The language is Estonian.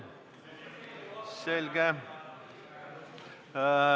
Selge.